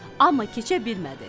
Amma keçə bilmədi.